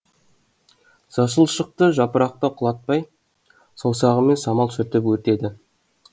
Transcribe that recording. жасыл шықты жапырақтан құлатпай саусағымен самал сүртіп өтеді